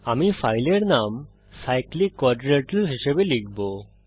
আমি ফাইলের নাম cyclic quadrilateral হিসাবে লিখব